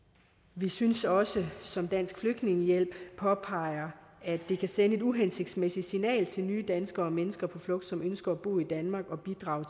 vi synes også som dansk flygtningehjælp påpeger at det kan sende et uhensigtsmæssigt signal til nye danskere og mennesker på flugt som ønsker at bo i danmark og bidrage